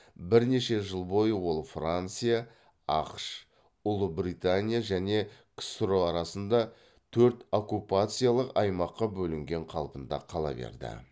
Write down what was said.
бірнеше жыл бойы ол франция ақш ұлыбритания және ксро арасында төрт оккупациялық аймаққа бөлінген қалпында кала берді